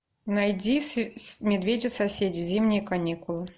найди медведи соседи зимние каникулы